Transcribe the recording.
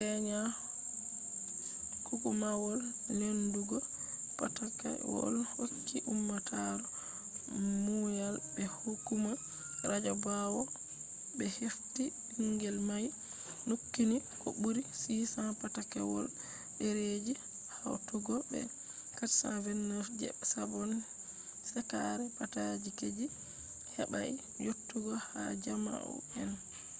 kenya hukumawol lendugo patakewol hokki ummatore muyal be hukuma radio bawo be hefti bingel mai nukkini ko buri 600 patakewol dereji hautugo be 429 je sabon shekara patakeji, je hebai yottugo ha jaumu’en